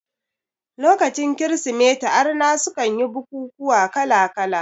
Lokacin kirismeti arna sukan yi bukukuwa kala kala